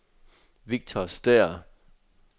Victor Stæhr